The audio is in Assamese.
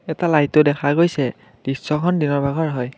এটা লাইটো দেখা গৈছে দৃশ্যখন দিনৰ ভাগৰ হয়।